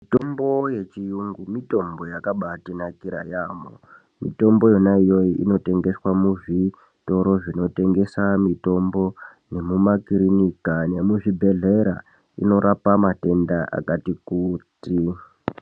Mitombo yechiyungu mutombo yakanaka yambo mitombo yona iyoyo ino tengeswa muzvitoro zvinotengesa mitombo nemumakirinika nemuzvibhedhlera inorapa matenda akati kuti.